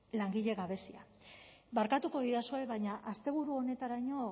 langile gabezia barkatuko didazue baina asteburu honetaraino